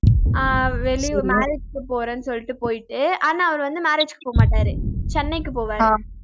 ஆஹ் வெளியூர் marriage க்கு போறேன்னு சொல்லிட்டு போயிட்டு ஆனா அவரு வந்து marriage க்கு போகமாட்டாரு சென்னைக்கு போவாரு